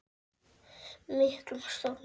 miklum stormi.